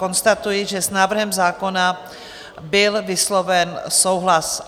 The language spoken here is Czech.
Konstatuji, že s návrhem zákona byl vysloven souhlas.